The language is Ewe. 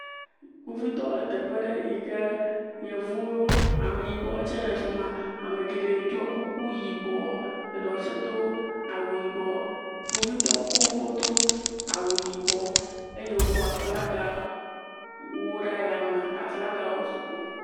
kpovitɔwo le teƒe ɖe yike yevuwo ameyibɔwo tsɛ le fima amegeɖe ɖɔ kuku yibɔ eɖewo tsɛ dó awu yibɔ kpovitɔwo koŋ wodó awu yibɔ eye wokó aflagawo wu ɖe yame aflagawo sugbɔ